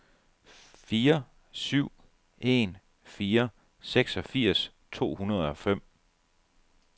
fire syv en fire seksogfirs to hundrede og fem